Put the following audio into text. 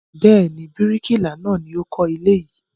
Bẹ́ẹ̀ ni, bíríkìlà náà ni ó kọ́ ilé yìí.